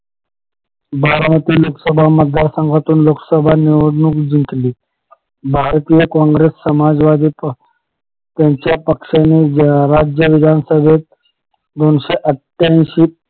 बारामती लोकसभा मतदार संघातून लोकसभा निवडणूक जिंकली भारतीय काँग्रेस समाजवादी त्यांच्या पक्षाने राज्य विधान सभेत दोनशे आठ्यांशी